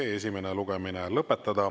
Head kolleegid, meie tänane istung on lõppenud.